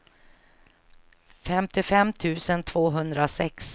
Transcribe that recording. femtiofem tusen tvåhundrasex